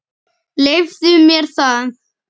Leyfðu mér það